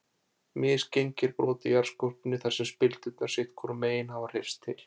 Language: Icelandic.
Misgengi eru brot í jarðskorpunni þar sem spildurnar sitt hvorum megin hafa hreyfst til.